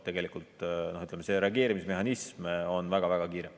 Tegelikult see reageerimismehhanism on väga-väga kiire.